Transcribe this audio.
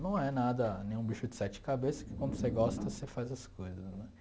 Não é nada, nenhum bicho de sete cabeça, que quando você gosta, você faz as coisas, né?